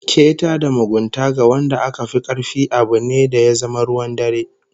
Keta da mugunta ga wanda aka fi karfi abu ne da ya zama ruwan dare